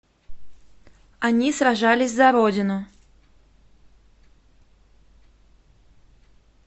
они сражались за родину